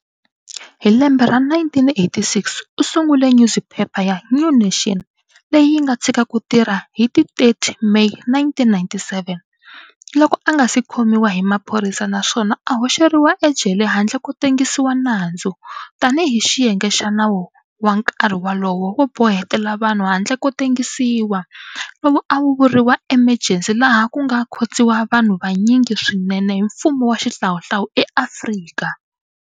Hi lembe ra 1986, u sungule nyuziphepha ya "New Nation", leyi yi nga tshika ku tirha hi ti 30 Meyi 1997, loko a nga si khomiwa hi maphorisa na swona a hoxeriwa ejele handle ko tengisiwa nandzu, tani hi xiyenge xa nawu wa nkarhi wolowo wo bohetela vanhu handle ko tengisiwa, lowu a wu vuriwa emergency laha ku nga khotsiwa vanhu vanyingi swinene hi mfumo wa xihlawuhlawu eAfrika.